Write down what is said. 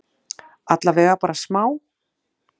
Allavega bara smá?